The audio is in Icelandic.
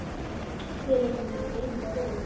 Ég er líka að meina flögur.